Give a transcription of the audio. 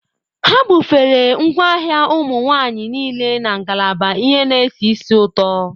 Ha bufere ngwaahịa ụmụ nwanyị niile na ngalaba ihe na-esi ísì ụtọ.